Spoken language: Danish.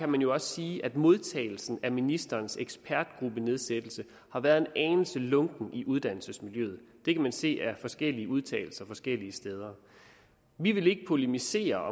man jo også sige at modtagelsen af ministerens ekspertgruppenedsættelse har været en anelse lunken i uddannelsesmiljøet det kan man se af forskellige udtalelser forskellige steder vi vil ikke polemisere